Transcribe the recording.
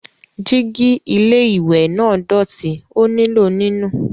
Jígí ilé-ìwẹ̀ náà dọ̀tí, ó nílò nínù.